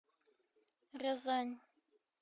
рязань